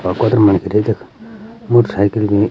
अ कतर मनखी रे तख मोटरसाइकिल भी।